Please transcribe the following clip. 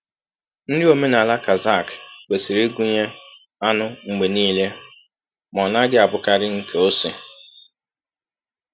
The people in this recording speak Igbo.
Nri omenala Kazakh kwesịrị ịgụnye anụ mgbe niile, ma ọ naghị abụkarị nke ose.